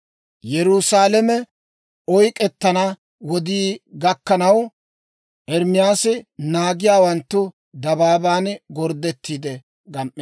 Yerusaalame oyk'k'ettana wodii gakkanaw, Ermaasi naagiyaawanttu dabaaban gorddettiide gam"eedda.